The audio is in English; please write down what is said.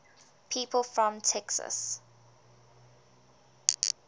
people from texas